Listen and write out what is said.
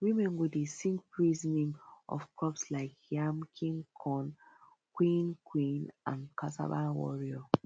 women go dey sing praise name of crops like yam king corn queen queen and cassava warrior